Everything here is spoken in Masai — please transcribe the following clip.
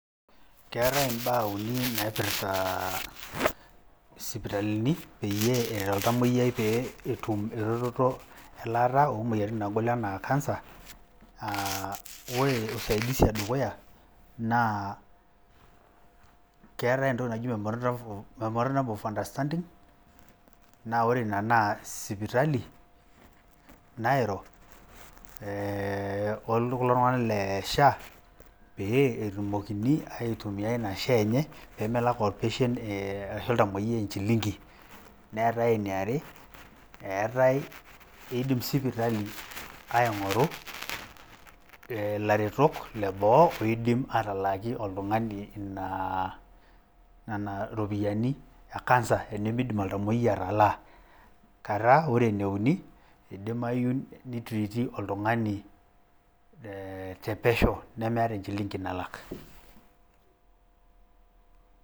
Keetae imbaa uni naipirta isipitalini peyie eret oltamuoyiai pee etum erototo elaata oo moyiaritin naagol enaa cancer. Aaah ore usaidizi e dukuya naa keetae entoki naji memorandum of , memorandum of understanding. Naa ore ina naa sipitali nairo ee oo kulo tung`anak le SHA pee etumokini aitumia ina SHA enye pee melak or patient ashu oltamuoyiai enchilingi. Neetae eniare, eetae idim sipitali aing`oru ilaretok le boo oidim atalaaki oltung`ani ina , nena ropiyiani e cancer tenimidim oltauoyiai atalaa. Kata ore eneuni idimayu ni treat ii oltung`ani te pesho nemeeta enchilingi nalak.